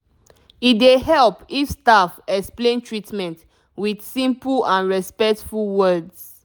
e dey help if staff explain treatment with simple and respectful words